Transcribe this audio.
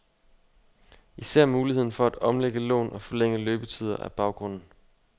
Især muligheden for at omlægge lån og forlænge løbetider er baggrunden.